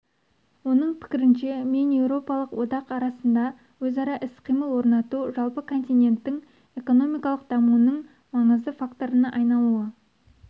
оның пікірінше мен еуропалық одақ арасында өзара іс-қимыл орнату жалпы континенттің экономикалық дамуының маңызды факторына айналуы